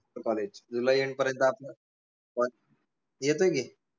college जुलै end पर्यंत आपलं college येतोय की